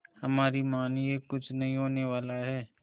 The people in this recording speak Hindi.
हमारी मानिए कुछ नहीं होने वाला है